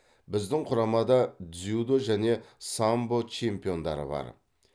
біздің құрамада дзюдо және самбо чемпиондары бар